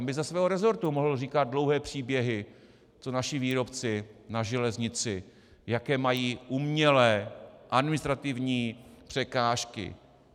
On by ze svého resortu mohl říkat dlouhé příběhy, co naši výrobci na železnici, jaké mají umělé administrativní překážky.